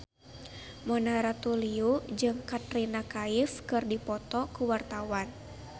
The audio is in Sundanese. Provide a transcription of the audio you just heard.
Mona Ratuliu jeung Katrina Kaif keur dipoto ku wartawan